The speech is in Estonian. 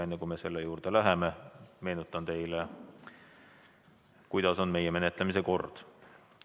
Enne, kui me selle juurde läheme, meenutan teile, kuidas on meie menetlemise kord.